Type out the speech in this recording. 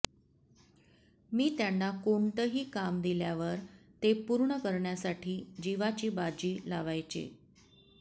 मी त्यांना कोणतंही काम दिल्यावर ते पूर्ण करण्यासाठी जीवाची बाजी लावायचे